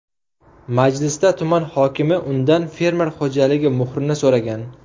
Majlisda tuman hokimi undan fermer xo‘jaligi muhrini so‘ragan.